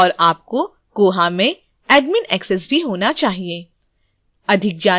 और आपको koha में admin access भी होना चाहिए